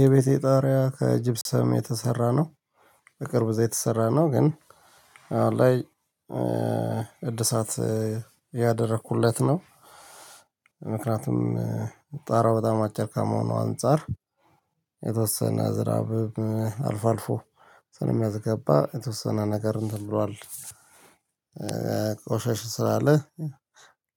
የቤቴ ጣሪያ ከጅብሰም የተሰራ ነው። በቅርቡ እዛ የተሰራ ነው ግን አሁን ላይ እድሳት አያደረኩለት ነው። ምክንያቱም ጣራው በጣም አጨር ከመሆኑ አንፃር የተወሰነ ዝናብ አልፎ አልፎ ስለሚያስገባ የተወሰነ ነገርን እንትን ብሏል። ቆሸሽ ስላለ